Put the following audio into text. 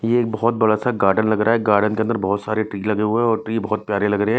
ये एक बहुत बड़ा सा गार्डन लग रहा है गार्डन के अंदर बहुत सारे ट्री लगे हुए हैं और ट्री बहुत प्यारे लग रहे हैं।